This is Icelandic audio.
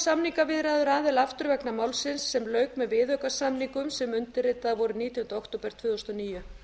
samningaviðræður aðila aftur vegna málsins sem lauk með viðaukasamningum sem undirritaðir voru nítjánda október tvö þúsund og níu